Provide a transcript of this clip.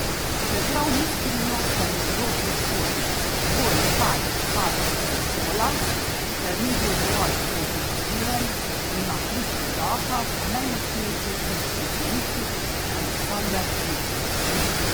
Čeprav ni skrivnost, da je njegov predhodnik Boris Tadić padel s prestola, ker ni bil dovolj kooperativen, ima ključ v rokah najmočnejši srbski politik Aleksandar Vučić.